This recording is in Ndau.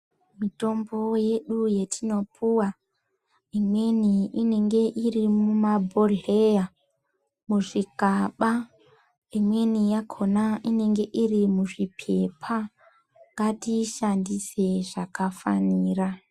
Mitombo yedu yatinopuwa imweni inenge iri mumabhodhleya muzvikaba imweni yakona inenge iri muzvipepa ngatiishandisei zvakafanira.